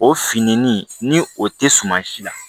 O finennin ni o tɛ suma si la